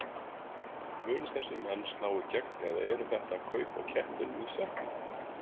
Munu þessir menn slá í gegn eða eru þetta kaup á kettinum í sekknum?